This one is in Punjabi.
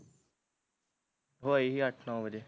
ਹੋਈ ਸੀ ਅੱਠ ਨੋ ਵਜੇ